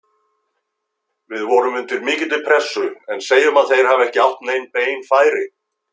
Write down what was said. Við vorum undir mikilli pressu, en segjum að þeir hafi ekki átt nein bein færi.